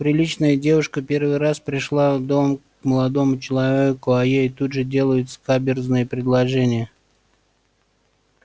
приличная девушка первый раз пришла в дом к молодому человеку а ей тут же делают скаберзные предложения